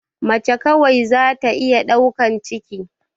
Mace kawai zata iya ɗaukan ciki